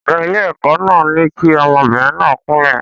Ọ̀gá ilé-ẹ̀kọ́ náà ní kí ọmọbìnrin náà kúnlẹ̀.